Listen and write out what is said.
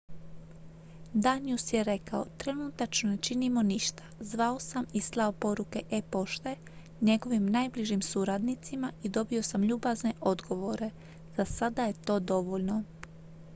"danius je rekao: "trenutačno ne činimo ništa. zvao sam i slao poruke e-pošte njegovim najbližim suradnicima i dobio sam ljubazne odgovore. za sada je to dovoljno.""